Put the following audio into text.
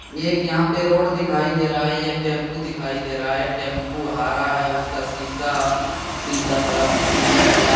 एक यहां पर रोड दिखाई दे रहा है एक टेम्पो दिखाई दे रहा है टेम्पो हरा है उसका शीशा शीशा तरफ पिला थोड़ा--